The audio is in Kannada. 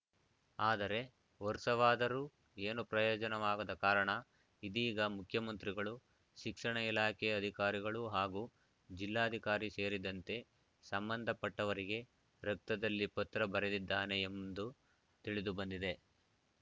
ಆದರೆ ವರ್ಷವಾದರೂ ಏನೂ ಪ್ರಯೋಜನವಾಗದ ಕಾರಣ ಇದೀಗ ಮುಖ್ಯಮಂತ್ರಿಗಳು ಶಿಕ್ಷಣ ಇಲಾಖೆ ಅಧಿಕಾರಿಗಳು ಹಾಗೂ ಜಿಲ್ಲಾಧಿಕಾರಿ ಸೇರಿದಂತೆ ಸಂಬಂಧಪಟ್ಟವರಿಗೆ ರಕ್ತದಲ್ಲಿ ಪತ್ರ ಬರೆದಿದ್ದಾನೆ ಎಂದು ತಿಳಿದುಬಂದಿದೆ